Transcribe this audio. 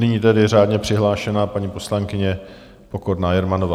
Nyní tedy řádně přihlášená paní poslankyně Pokorná Jermanová.